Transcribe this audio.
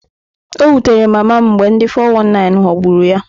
O wutere mama m mgbe ndi 419 ghọgburu ya.